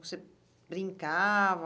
Você brincava?